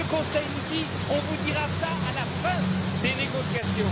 Le Conseil nous dit on vous dira ça à la fin des négociations.